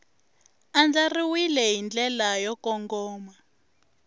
andlariwile hi ndlela yo kongoma